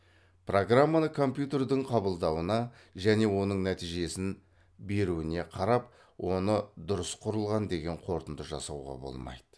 программаны компьютердің қабылдауына және оның нәтижесін беруіне қарап оны дұрыс құрылған деген қорытынды жасауға болмайды